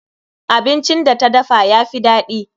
Abincin da ta dafa yafi daɗi.